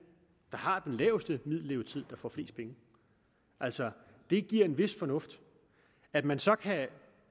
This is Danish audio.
der har den laveste middellevetid der får flest penge altså det giver en vis fornuft at man så kan